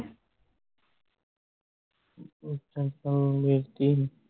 ਅੱਛਾ ਅੱਛਾ ਉਦੋਂ ਵੇਚਤੀ ਸੀ